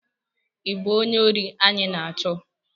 ị bụ onye ori anyị na-achọ?